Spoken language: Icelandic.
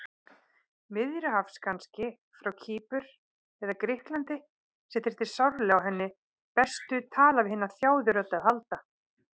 Miðjarðarhafs kannski, frá Kýpur eða Grikklandi, sem þyrfti sárlega á hennar bestu tala-við-hina-þjáðu-rödd að halda.